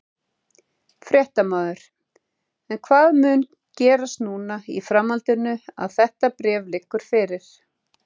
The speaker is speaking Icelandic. Fréttamaður: En hvað mun gerast núna í framhaldinu að þetta bréf liggur fyrir?